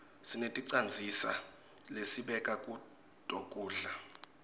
sineticandzisa lesibeka kuto kudla